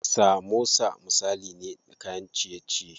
Samosa misali ne na kayan ciye ciye.